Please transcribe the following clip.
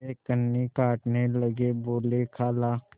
वे कन्नी काटने लगे बोलेखाला